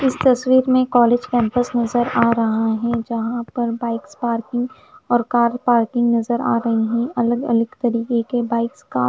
इस तस्वीर में कॉलेज कैंपस नजर आ रहा है जहां पर बाइक्स पार्किंग और कार पार्किंग नजर आ रही अलग अलग तरीके के बाइक्स का--